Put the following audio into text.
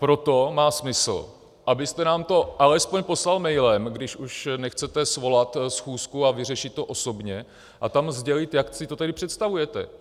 Proto má smysl, abyste nám to alespoň poslal mailem, když už nechcete svolat schůzku a vyřešit to osobně, a tam sdělit, jak si to tedy představujete.